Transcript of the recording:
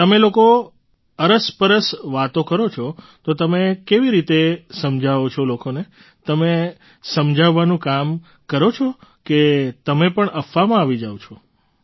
તમે લોકો અરસપરસ વાતો કરો છો તો તમે કેવી રીતે સમજાવો છો લોકોને તમે સમજાવવાનું કામ કરો છો કે તમે પણ અફવામાં આવી જાવ છો